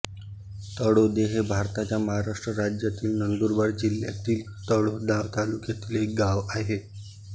तळोदे हे भारताच्या महाराष्ट्र राज्यातील नंदुरबार जिल्ह्यातील तळोदा तालुक्यातील एक गाव आहे